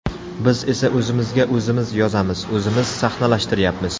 Biz esa o‘zimizga o‘zimiz yozamiz, o‘zimiz sahnalashtiryapmiz.